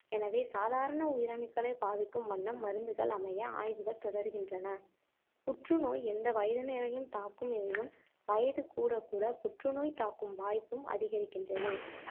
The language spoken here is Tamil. எனவே சாதாரண உயிரணுக்களைப் பாதிக்கும் வண்ணம் மருந்துகள் அமைய ஆய்வுகள் தொடர்கின்றன. புற்று நோய் எந்த வயதினரையும் தாக்கும் எனினும் வயது கூடக்கூட புற்றுநோய் தாக்கும் வாய்ப்பும் அதிகரிக்கின்றது.